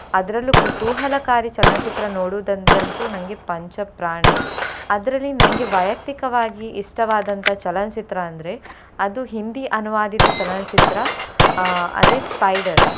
ಅದ್ರಲ್ಲೂ ಕೂತೂಹಲಕಾರಿ ಚಲನಚಿತ್ರ ನೋಡುದಂದ್ರೆ ಅಂತು ನನ್ಗೆ ಪಂಚಪ್ರಾಣ ಅದ್ರಲ್ಲಿ ನನ್ಗೆ ವ್ಯಯಕ್ತಿಕವಾಗಿ ಇಷ್ಟವಾದಂತ ಚಲನಚಿತ್ರ ಅಂದ್ರೆ ಅದು Hindi ಅನುವಾದಿತ ಚಲನಚಿತ್ರ ಅಹ್ ಅದೇ Spyder .